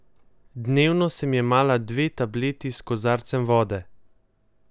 Dnevno sem jemala dve tableti s kozarcem vode.